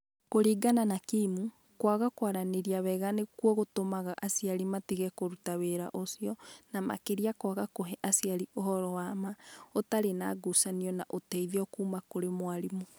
Kũringana na Kimu, kwaga kwaranĩria wega nĩkuo gwatũmaga aciari matige kũruta wĩra ũcio, na makĩria kwaga kũhe aciari ũhoro wa ma, ũtarĩ na ngucanio na ũteithio kuuma kũrĩ mwarimũ.